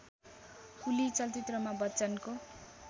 कुली चलचित्रमा बच्चनको